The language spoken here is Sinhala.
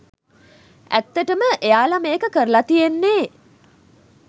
ඇත්තටම එයාල මේක කරල තියෙන්නෙ